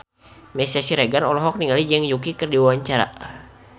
Meisya Siregar olohok ningali Zhang Yuqi keur diwawancara